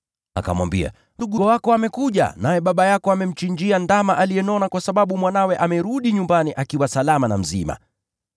Akamwambia, ‘Ndugu yako amekuja, naye baba yako amemchinjia ndama aliyenona kwa sababu mwanawe amerudi nyumbani akiwa salama na mzima.’